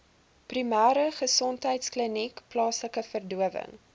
primêregesondheidkliniek plaaslike verdowing